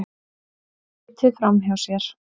Finnst litið framhjá sér